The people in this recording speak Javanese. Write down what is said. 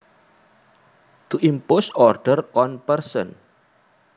To impose order on a person